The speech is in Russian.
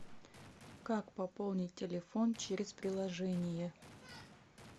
как пополнить телефон через приложение